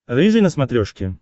рыжий на смотрешке